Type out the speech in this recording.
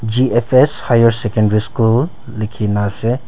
G_F_S higher secondary school likhi ne ase.